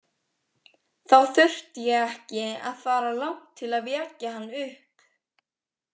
Þá þurfti ég ekki að fara langt til að vekja hann upp.